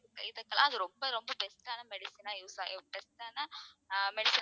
இதுக்கெல்லாம் அது ரொம்ப ரொம்ப best ஆன medicine ஆ use ஆ best ஆன